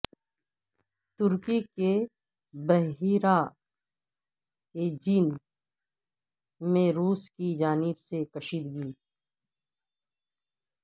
ترکی کے بحیرہ ایجین میں روس کی جانب سے کشیدگی